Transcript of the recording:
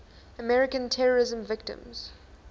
american terrorism victims